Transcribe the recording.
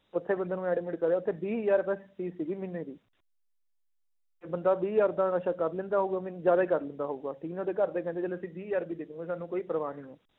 ਉੱਥੇ ਬੰਦੇ ਨੂੰ admit ਕਰਿਆ ਉੱਥੇ ਵੀਹ ਹਜ਼ਾਰ ਰੁਪਇਆ fees ਸੀਗੀ ਮਹੀਨੇ ਦੀ ਤੇ ਬੰਦਾ ਵੀਹ ਹਜ਼ਾਰ ਦਾ ਨਸ਼ਾ ਕਰ ਲੈਂਦਾ ਉਦੋਂ ਵੀ ਜ਼ਿਆਦੇ ਕਰ ਲੈਂਦਾ ਹੋਊਗਾ, ਲੇਕਿੰਨ ਉਹਦੇ ਘਰਦੇ ਕਹਿੰਦੇ ਚੱਲ ਅਸੀਂ ਵੀਹ ਹਜ਼ਾਰ ਵੀ ਦੇ ਦਵਾਂਗੇ ਸਾਨੂੰ ਕੋਈ ਪਰਵਾਹ ਨੀ ਹੈ।